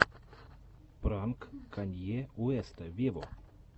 пранк канье уэста вево